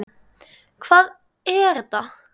Hvað er ETA?